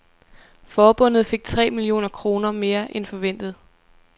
Forbundet fik tre millioner kroner mere end forventet.